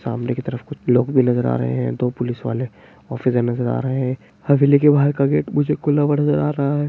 सामने की तरफ कुछ लोग भी नजर आ रहे हैं दो पुलिस वाले ऑफिसर नजर आ रहे हैं हवेली के बाहर का गेट मुझे खुला हुआ नजर आ रहा है।